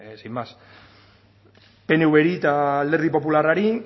sin más pnvri eta alderdi popularrari